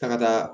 Taga